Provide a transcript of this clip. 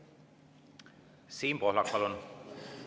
Siim Pohlak, palun!